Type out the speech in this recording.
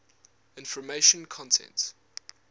information content